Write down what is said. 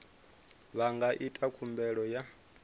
vha nga ita khumbelo ya